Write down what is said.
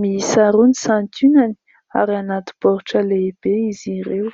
Miisa roa ny santionany ; ary anaty baoritra lehibe izy ireo.